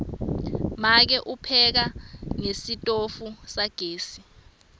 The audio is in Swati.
make upheka ngesitofu sagesi